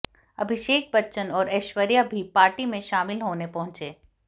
अभिषेक बच्चन और ऐश्वर्या भी पार्टी में शामिल होने पहुंचे